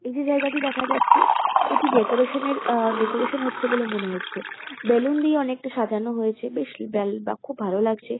এই যে জায়গাটি দেখা যাচ্ছে এটি ডেকোরেশন -এর আ ডেকোরেশন হচ্ছে বলে মনে হচ্ছে। বেলুন দিয়ে অনেকটা সাজানো হয়েছে। বেশ বেল বা খুব ভালো লাগছে।